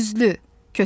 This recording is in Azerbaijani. İkiyüzlü!